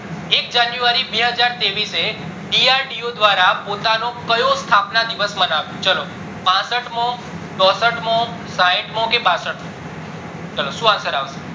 એક january બેજાર ત્રેઈસ એ DRDO દ્વારા પોતાનો કયો સ્થાપના દિવસ મનાવ્યો ચાલો પાસઠમો, ચોસઠ મો, સાઈઠ મો, કે બાસઠ મો, ચાલો શું answer આવશે